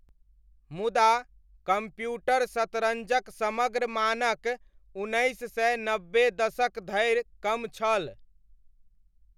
मुदा, कम्प्यूटर शतरञ्जक समग्र मानक उन्नैस सय नब्बे दशक धरि कम छल।